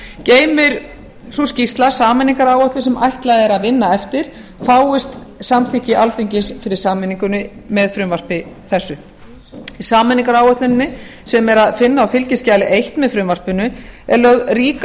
geymir sú skýrsla sameiningaráætlun sem ætlað er að vinna eftir fáist samþykki alþingis fyrir sameiningunni með frumvarpi þessu í sameiningaráætluninni sem er að finna á fskj eins með frumvarpinu er lögð rík